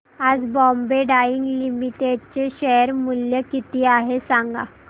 आज Bombay Dyeing Limited चे share मूल्य किती आहे सांगा